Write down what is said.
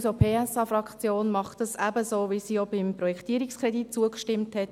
Die SP-JUSO-PSA-Fraktion macht dies ebenso, wie sie auch dem Projektierungskredit zustimmte.